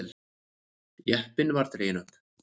Jeppinn var dreginn upp.